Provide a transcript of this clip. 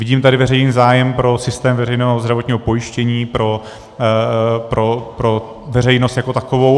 Vidím tady veřejný zájem pro systém veřejného zdravotního pojištění pro veřejnost jako takovou.